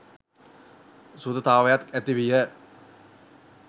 සුහදතාවයක් ඇති විය.